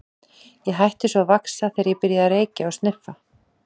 Ég hætti svo að vaxa þegar ég byrjaði að reykja og sniffa.